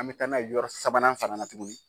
An bɛ taa na ye yɔrɔ sabanan fana na tugunni.